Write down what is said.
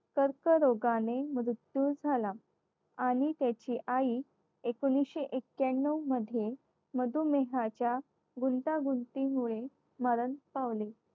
कर्करोगाने मृत्यू झाला आणि त्याची आई एकोणविशे एक्क्यांनव मध्ये मधुमेहाचा गुंतागुंतीमुळे मरण पावली.